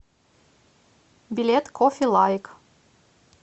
билет кофе лайк